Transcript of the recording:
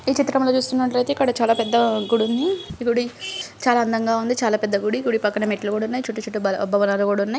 ఈ చిత్రం లో చూస్తునట్లైతే అయితే ఇక్కడ చాలా పెద్ద గుడి ఉంది . గుడి చాలా అందంగా ఉంది. చాలా పెద్ద గుడి. గుడి పక్కన మెట్లు గూడున్నాయి. చుట్టు చుట్టు బ--భవనాలు కూడున్నాయి.